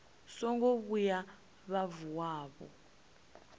songo vhuya vha vuwa vho